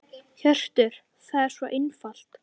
Hjörtur: Það er svo einfalt?